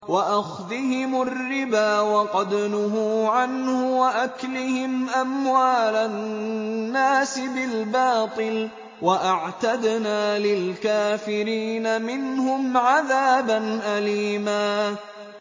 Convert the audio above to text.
وَأَخْذِهِمُ الرِّبَا وَقَدْ نُهُوا عَنْهُ وَأَكْلِهِمْ أَمْوَالَ النَّاسِ بِالْبَاطِلِ ۚ وَأَعْتَدْنَا لِلْكَافِرِينَ مِنْهُمْ عَذَابًا أَلِيمًا